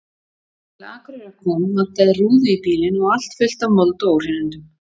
Þegar til Akureyrar kom vantaði rúðu í bílinn og allt fullt af mold og óhreinindum.